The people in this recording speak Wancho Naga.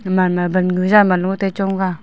gaman ma wangu jam long chong taiga.